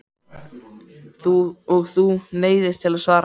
Og þú neyðist til að svara mér.